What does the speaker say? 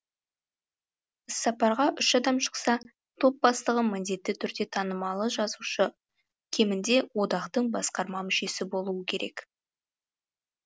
іссапарға үш адам шықса топ бастығы міндетті түрде танымалы жазушы кемінде одақтың басқарма мүшесі болуы керек